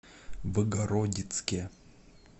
богородицке